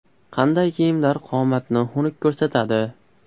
Qanday kiyimlar qomatni xunuk ko‘rsatadi?.